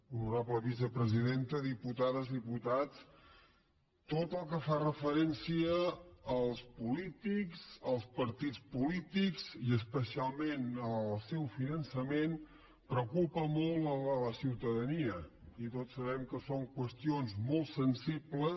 honorable vicepresidenta diputades diputats tot el que fa referència als polítics als partits polítics i especialment al seu finançament preocupa molt la ciutadania i tots sabem que són qües tions molt sensibles